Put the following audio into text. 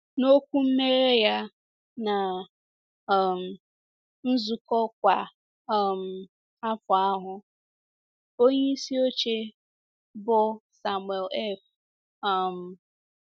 N’okwu mmeghe ya ná um nzukọ kwa um afọ ahụ, onyeisi oche, bụ́ Samuel F um.